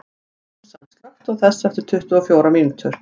Súsan, slökktu á þessu eftir tuttugu og fjórar mínútur.